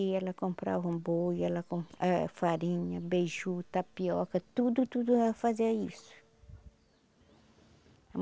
E ela comprava um boi, ela com eh farinha, beiju, tapioca, tudo, tudo ela fazia isso.